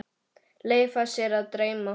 Leyfa sér að dreyma.